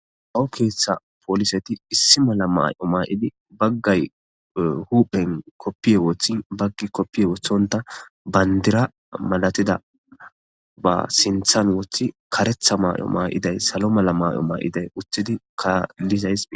Awu keeththa pooliseti issi mala may'o maayidi baggay huphen koppiye wooththin baggi koppiye wothonta bandira malatida ba sinthan wothi karetha maay'o maa'iday salo mala may'o maa'iday uthidi kaallizays.